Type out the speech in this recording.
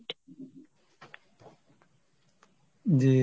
জি